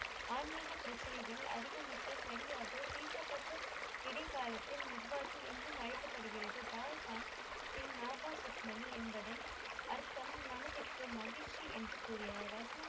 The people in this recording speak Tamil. ஆன்மீக பிரச்சனைகள் அதிகம் மிக்க சரியாக தீர்க்கப்பட்ட இடைக்காலத்தில் நட்பாகி என்றும் அழைக்கப்படுகிறது பால்கான் சிங்நாப்பா ருக்மணி என்பதன் அர்த்தம் மனதிற்கு மகிழ்ச்சி என்று கூறினார்கள்.